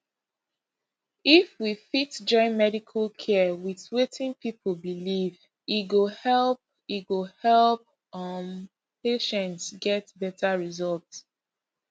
if we fit join medical care with wetin people believe e go help e go help um patients get better result